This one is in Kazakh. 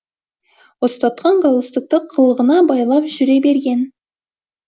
ұстатқан галстукты қылғына байлап жүре берген